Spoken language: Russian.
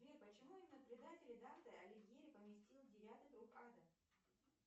сбер почему именно предателей данте алигьери поместил в девятый круг ада